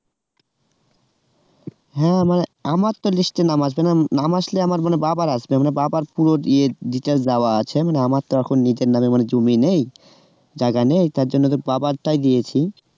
হ্যাঁ আমার তো list এ নাম আসবে না নাম আসলে আমার মানে বাবার আসবে আমার বাবার পুরো ইয়ে details দেওয়া আছে মানে আমার তো এখন নিজের নামে কোন জমি নেই যার কারনে তার জন্য তোর বাবার টাই দিয়েছি